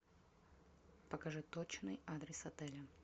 покажи точный адрес отеля